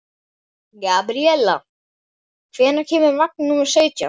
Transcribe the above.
Gabríella, hvenær kemur vagn númer sautján?